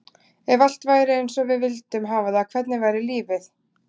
Ef allt væri eins og við vildum hafa það, hvernig væri lífið?